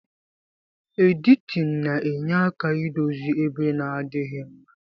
Editin na enye aka idozi ebe na adighi mma.